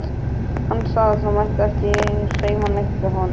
Hann sagði að það mætti ekki hreyfa neitt við honum.